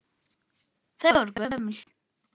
Þau voru gömul.